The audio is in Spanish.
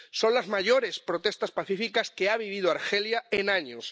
Son las mayores protestas pacíficas que ha vivido Argelia en años.